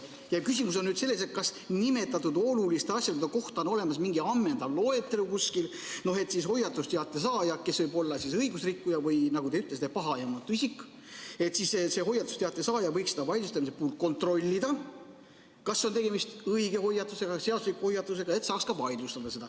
Minu küsimus on selles, kas nende oluliste asjaolude kohta on kuskil olemas mingi ammendav loetelu, et hoiatusteate saaja, kes võib olla õigusrikkuja või, nagu te ütlesite, pahaaimamatu isik, saaks kontrollida, kas on tegemist õige, seadusliku hoiatusega või saaks selle vaidlustada.